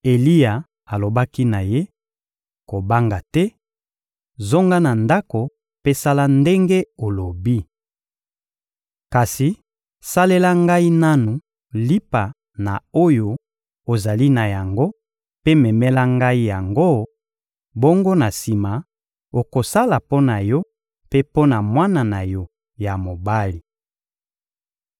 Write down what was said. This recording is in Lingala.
Eliya alobaki na ye: — Kobanga te, zonga na ndako mpe sala ndenge olobi. Kasi salela ngai nanu lipa na oyo ozali na yango mpe memela ngai yango; bongo na sima, okosala mpo na yo mpe mpo na mwana na yo ya mobali.